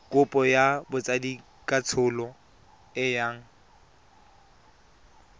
kopo ya botsadikatsholo e yang